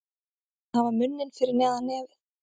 Að hafa munninn fyrir neðan nefið